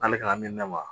N'ale k'a min n'a ma